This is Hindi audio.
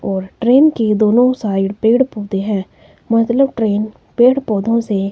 और ट्रेन की दोनों साइड पेड़ पौधे हैं मतलब ट्रेन पेड़ पौधों से--